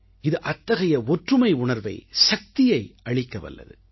இது அத்தகைய ஒற்றுமை உணர்வை சக்தியை அளிக்கவல்லது